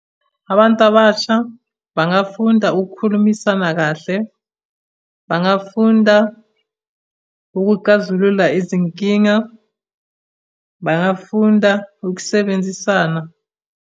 Abantu abasha bangafunda ukukhulumisana kahle, bangafunda ukuxazulula izinkinga, bangafunda ukusebenzisana.